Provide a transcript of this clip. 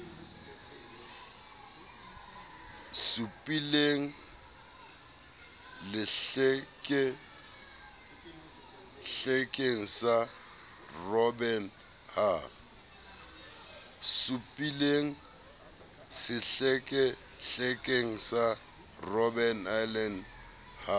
supileng sehlekehlekeng sa robben ha